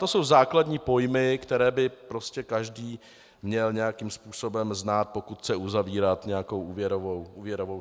To jsou základní pojmy, které by prostě každý měl nějakým způsobem znát, pokud chce uzavírat nějakou úvěrovou smlouvu.